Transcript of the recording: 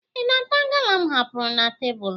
Ị na-ata gala m hapụrụ na tebụlụ?